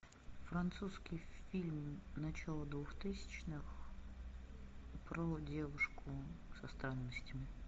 французский фильм начала двухтысячных про девушку со странностями